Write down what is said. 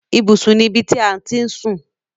Ibùsùn ni ibi ti à ti ń sùn.